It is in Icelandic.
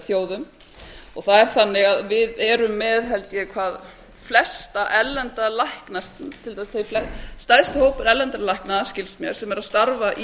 þjóðum það er þannig að við erum með held ég flesta erlenda lækna til dæmis stærsti hópur erlendra lækna skilst mér sem er að starfa í